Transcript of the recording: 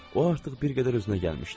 O artıq bir qədər özünə gəlmişdi.